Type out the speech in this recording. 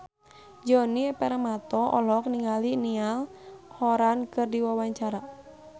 Djoni Permato olohok ningali Niall Horran keur diwawancara